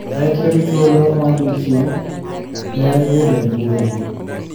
Kai tiyo gi thuolo ma odiechieng` te bedo e mbui.